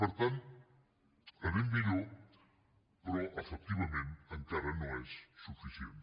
per tant anem millor però efectivament encara no és suficient